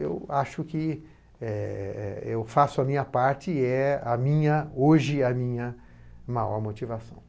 eu acho que, é, eu faço a minha parte e é a minha, hoje, a minha maior motivação.